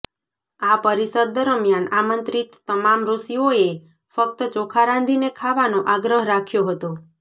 આ પરિષદ દરમિયાન આમંત્રિત તમામ ઋષિઓએ ફક્ત ચોખા રાંધીને ખાવાનો આગ્રહ રાખ્યો હતો